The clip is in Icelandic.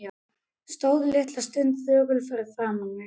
Stóð litla stund þögull fyrir framan mig.